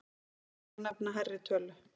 Önnur félög nefna hærri tölu.